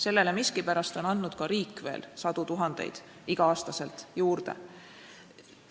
Selle jaoks on miskipärast andnud ka riik veel sadu tuhandeid iga aasta juurde.